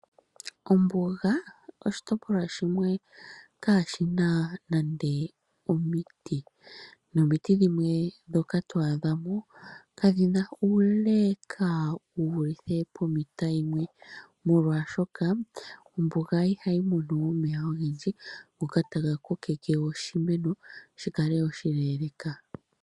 Ombuga oshitopolwa shimwe kaashina nande omiti. Nomiti dhimwe ndhoka twaadhamo kadhina uule wuvulithe pometa yimwe , molwaashoka ombuga ihayi mono omeya ogendji ngoka taga kokeke oshimeno shikale wo oshileeleeka.